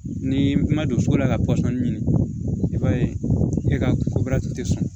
Ni ma don so la ka pɔsɔni ɲini i b'a ye e ka tɛ sɔn